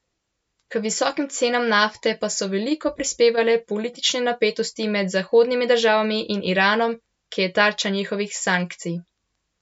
K visokim cenam nafte pa so veliko prispevale politične napetosti med zahodnimi državami in Iranom, ki je tarča njihovih sankcij.